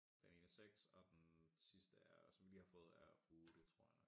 Den ene er 6 og den sidste er som vi lige har fået er 8 tror jeg nok